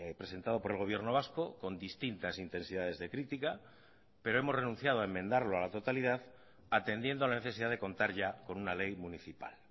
presentado por el gobierno vasco con distintas intensidades de crítica pero hemos renunciado a enmendarlo a la totalidad atendiendo a la necesidad de contar ya con una ley municipal